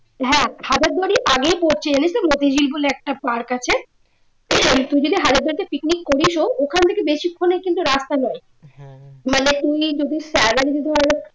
হ্যাঁ মতিঝিল বলে একটা পার্ক আছে তুই যদি থেকে picnic করিস ও ওখান থেকে বেশিক্ষনের কিন্তু রাস্তা নয় মানে উনি যদি